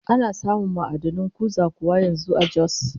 Ana samun ma'adanin kuza kuwa yanzu a Jos?